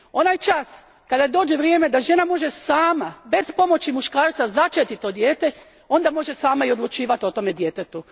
Onaj čas kada dođe vrijeme da žena može sama, bez pomoći muškarca, začeti to dijete, onda može sama i odlučivati o tom djetetu.